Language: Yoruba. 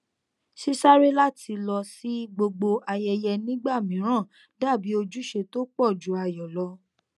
sísáré láti lọ sí gbogbo ayẹyẹ nígbà mìíràn dàbí ojúṣe tó pọ ju ayọ lọ